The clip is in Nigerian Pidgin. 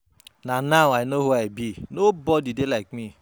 Na now I no who I be, nobody dey like me.